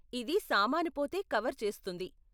ఇది సామాను పోతే కవర్ చేస్తుంది.